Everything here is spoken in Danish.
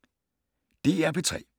DR P3